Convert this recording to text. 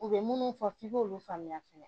U bɛ minnu fɔ f'i k'olu faamuya fɛnɛ